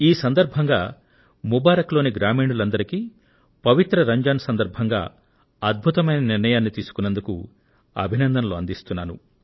ఈ సందర్భంగా ముబారక్ పూర్ లోని గ్రామీణులందరికీ పవిత్ర రంజాన్ సందర్భంగా అద్భుతమైన నిర్ణయాన్ని తీసుకున్నందుకు అభినందనలు అందిస్తున్నాను